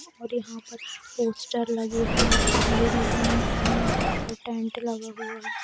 और यहां पर पोस्टर लगे हुए हैं सीढ़ी बनी हुई है और टेंट लगा हुआ है।